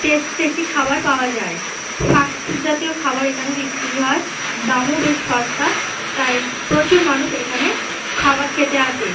Tasty tasty খাবার পাওয়া যায়। ফাস্ট ফুড জাতীয় খাবার এখানে বিক্রি হয় দামও বেশ সস্তা। তাই প্রচুর মানুষ এখানে খাবার খেতে আসে।